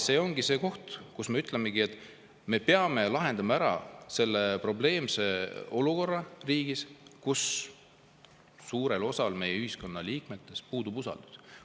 See ongi see koht, kus me ütleme, et me peame riigis lahendama ära selle probleemse olukorra, kus suurel osal meie ühiskonna liikmetest puudub usaldus.